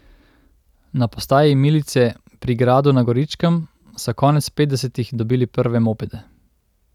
Na postaji milice pri Gradu na Goričkem so konec petdesetih dobili prve mopede.